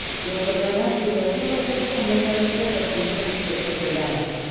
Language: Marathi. या प्रकरणाशी दहशतवाद्यांचा संबंध नसल्याचं पोलिसांनी स्पष्ट केलं आहे